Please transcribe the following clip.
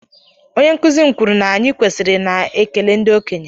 onye nkuzi m kwuru na anyị kwesịrị ị na-ekele ndị okenye